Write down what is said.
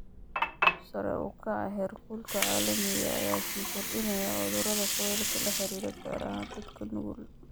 Sare u kaca heerkulka caalamiga ah ayaa sii kordhinaya cudurrada kulaylka la xiriira, gaar ahaan dadka nugul.